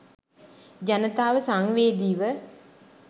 ජනතාව සංවේදීව